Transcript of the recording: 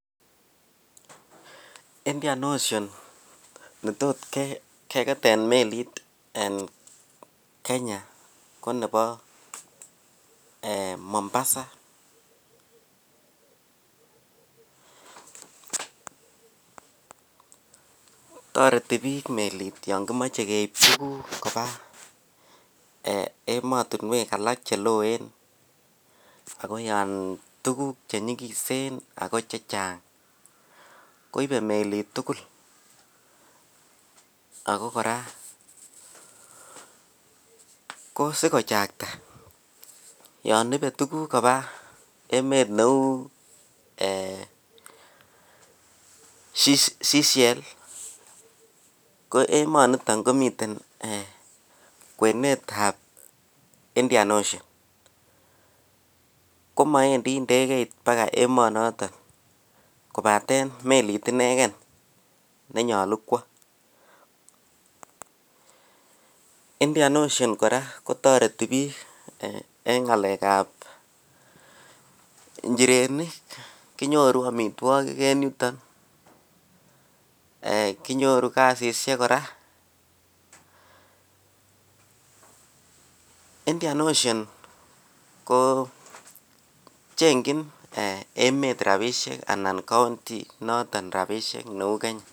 Indian ocean netot kegeten melit en Kenya ko nebo ee Mombasa. Toreti biik melit yon kimoe keip tuguk koba ematinwek alak che loen ago yon tuguk che nyikisen ago che chang. Koipe melit tugul ago kora ko sigochakta yon ibe tuguk koba emet neu Sichelle ko emonito komiten ee kwenetab Indian Ocean. Komawendi ngegeit pagaemonoto kopaten melit inegen ne nyalu kwo. Indian Ocean kora ko toreti biik en ngalekab injirenik. Kinyoru amitwogik en yuto, kinyoru kasisiek kora. Indian Ocean ko chengjin emet rapisiek anan counry inoto rapisiek neu Kenya.